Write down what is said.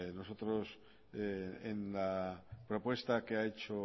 nosotros en la propuesta que ha hecho